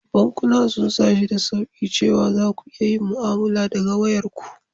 Bankunan sun sa shi da sauƙi cewa za ku iya yin mu'amala daga wayarku.